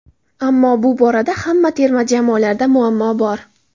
Ammo bu borada hamma terma jamoalarda muammo bor.